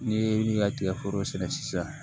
N'i ye i ka tigɛforo sɛnɛ sisan